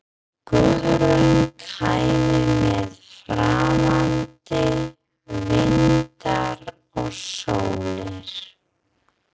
Guðrún kæmi með framandi vinda og sólir.